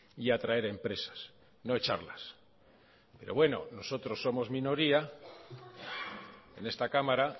y atraer empresas no echarlas pero bueno nosotros somos minoría en esta cámara